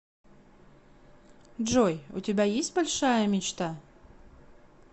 джой у тебя есть большая мечта